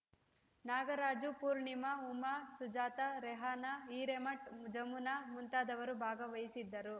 ನಾಗರಾಜು ಪೂರ್ಣಿಮಾ ಉಮಾ ಸುಜಾತ ರೆಹನಾ ಹಿರೇಮಠ್‌ ಜಮುನಾ ಮುಂತಾದವರು ಭಾಗವಹಿಸಿದ್ದರು